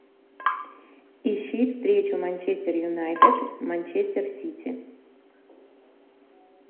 ищи встречу манчестер юнайтед манчестер сити